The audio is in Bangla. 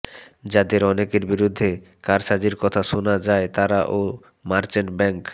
যাদের অনেকের বিরুদ্ধে কারসাজির কথা শুনা যায় তারা ও মার্চেন্ট ব্যাংক